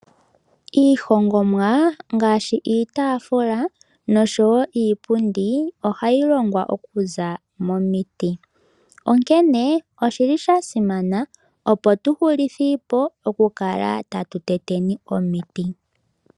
Iihongomwa ngaashi iitaafula nosho wo iipundi ohayi longwa okuza momiti, onkene oshili sha simana opo tu hulithiipo oku kala tatu teteni omiti.